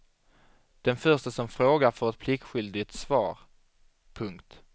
Den förste som frågar får ett pliktskyldigt svar. punkt